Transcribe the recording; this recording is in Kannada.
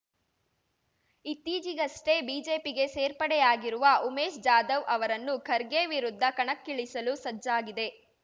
ಇತ್ತೀಚಿಗಷ್ಟೇ ಬಿಜೆಪಿಗೆ ಸೇರ್ಪಡೆಯಾಗಿರುವ ಉಮೇಶ್ ಜಾಧವ್ ಅವರನ್ನು ಖರ್ಗೆ ವಿರುದ್ಧ ಕಣಕ್ಕಿಳಿಸಲು ಸಜ್ಜಾಗಿದೆ